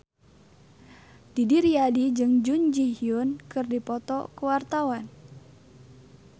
Didi Riyadi jeung Jun Ji Hyun keur dipoto ku wartawan